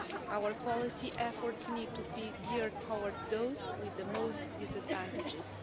Our policy efforts need to be geared toward those with the most disadvantages.